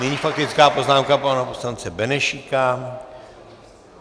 Nyní faktická poznámka pana poslance Benešíka.